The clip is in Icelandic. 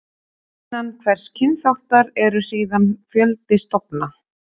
Innan hvers kynþáttar eru síðan fjöldi stofna.